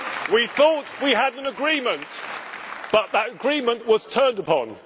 We thought we had an agreement, but that agreement was turned upon.